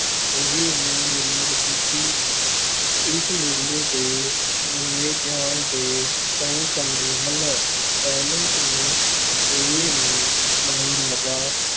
ਇਹ ਹੈ ਮੇਲਾ ਵਿਸਾਖੀ, ਇਸ ਮੇਲੇ ਦੇ ਮਨਾਏ ਜਾਣ ਦੇ ਕਈ ਕਾਰਨ ਹਨ, ਪਹਿਲਾ ਤਾਂ ਇਹ ਹੈ, ਮਹਾਰਾਜਾ